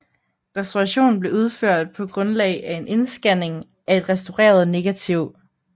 Restaurationen blev udført på grundlag af en indscanning af et restaureret negativ